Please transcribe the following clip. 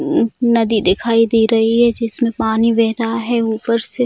मम नदी दिखाई दे रही है जिसमें पानी बेह रहा है ऊपर से।